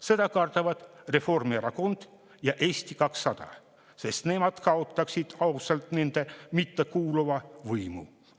Seda kardavad Reformierakond ja Eesti 200, sest nemad kaotaksid ausalt nendele mittekuuluva võimu.